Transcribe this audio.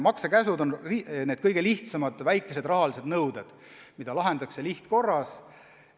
Maksekäsud on need kõige lihtsamad, väikesed rahalised nõuded, mida lahendatakse lihtkorras.